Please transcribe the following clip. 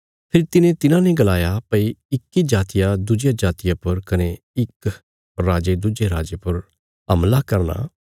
फेरी तिने तिन्हाने गलाया भई इक्की जातिया दुज्जिया जातिया पर कने इक राजे दुज्जे राजे पर हमला करना